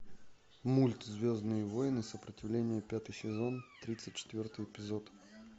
мульт звездные войны сопротивление пятый сезон тридцать четвертый эпизод